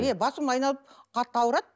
иә басым айналып қатты ауырады